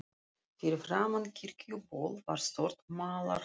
Fyrir framan Kirkjuból var stórt malarholt.